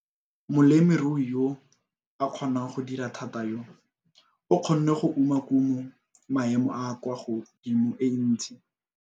Molemirui yo a kgonang go dira thata yo, o kgonne go uma kumo ya maemo a a kwa godimo e ntsi.